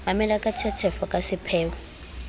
mamela ka tshetshefo ka sepheo